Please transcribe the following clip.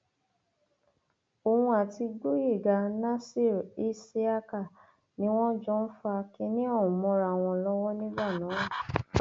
òun àti gboyega nasir isiaka ni wọn jọ ń fa kínní ọhún mọra wọn lọwọ nígbà náà